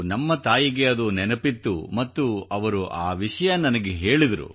ನಮ್ಮ ತಾಯಿಗೆ ಅದು ನೆನಪಿತ್ತು ಮತ್ತು ಅವರು ಆ ವಿಷಯ ನನಗೆ ಹೇಳಿದರು